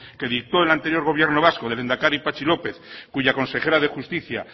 que dictó el anterior gobierno vasco del lehendakari patxi lópez cuya consejera de justicia